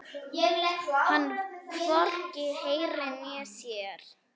Hann hvorki heyrir né sér.